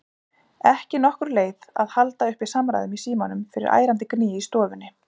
Ekki nokkur leið að halda uppi samræðum í símanum fyrir ærandi gný í stofunni.